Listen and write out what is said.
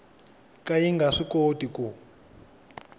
ka yi nga swikoti ku